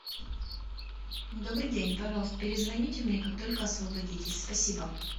добрый день пожалуйста перезвоните мне как только освободитесь спасибо